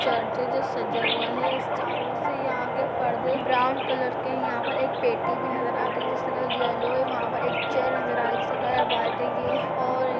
Church है जो सजा हुआ हैस्टारों से। यहाँ के पर्दे ब्राउन कलर के हैं। यहाँ पर एक पेटी भी नजर आ रही जिसका कलर येलो है। यहां पर एक चेयर नजर आ रही है जिसका कलर व्हाइट है ये और --